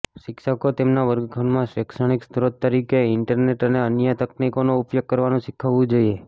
શિક્ષકોને તેમના વર્ગખંડમાં માં શૈક્ષણિક સ્રોત તરીકે ઈન્ટરનેટ અને અન્ય તકનીકોનો ઉપયોગ કરવાનું શીખવવું જોઇએ